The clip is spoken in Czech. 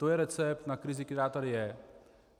To je recept na krizi, která tady je.